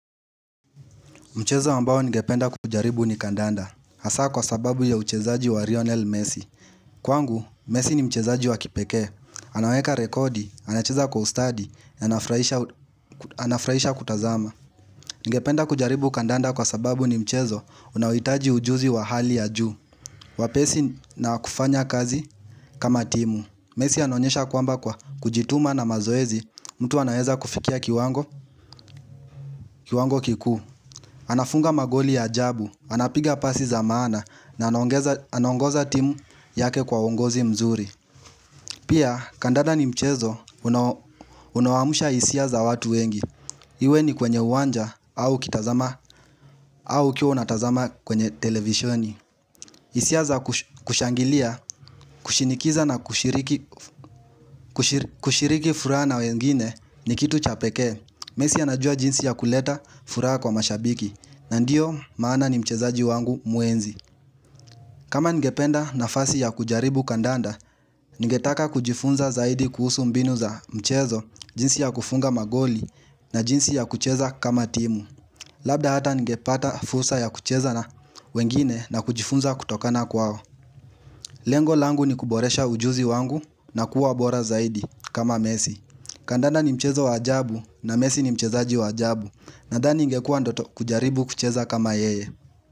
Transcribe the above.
Mchezo ambao nigependapenda kujaribu ni kandanda Hasa kwa sababu ya uchezaji wa lionel Messi Kwangu, Messi ni mchezaji wa kipekee Anaweka rekodi, anacheza kwa ustadi, anafurahisha kutazama Ningependa kujaribu kandanda kwa sababu ni mchezo unaohitaji ujuzi wa hali ya juu Wapesi na kufanya kazi kama timu Messi anonyesha kwamba kwa kujituma na mazoezi mtu anayeza kufikia kiwango kiku anafunga magoli ya ajabu Anapiga pasi za maana na anaongoza timu yake kwa uongozi mzuri Pia kandanda ni mchezo unaoamsha hisia za watu wengi Iwe ni kwenye uwanja au ukiwa unatazama kwenye televisioni hisia za kushangilia kushinikiza na kushiriki furaha na wengine ni kitu cha pekee Mesi anajua jinsi ya kuleta furaha kwa mashabiki na ndiyo maana ni mchezaji wangu muhenzi kama ningependa nafasi ya kujaribu kandanda, ninge taka kujifunza zaidi kuhusu mbinu za mchezo, jinsi ya kufunga magoli na jinsi ya kucheza kama timu. Labda ata ningepata fursa ya kucheza na wengine na kujifunza kutokana kwao. Lengo langu ni kuboresha ujuzi wangu na kuwa bora zaidi kama mesi. Kandanda ni mchezo wa ajabu na mesi ni mchezaji wa ajabu nadhani ingekuwa ndoto kujaribu kucheza kama yeye.